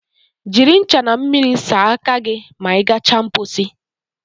Jiri ncha na mmiri saa aka gị ma ị gacha mposi